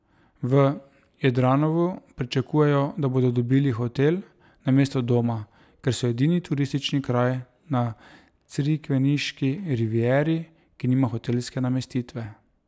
V Jadranovu pričakujejo, da bodo dobili hotel namesto doma, ker so edini turistični kraj na crikveniški rivieri, ki nima hotelske namestitve.